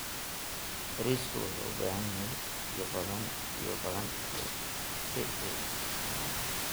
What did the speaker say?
Bariiska wuxuu u baahan yahay biyo badan si uu u bislaado.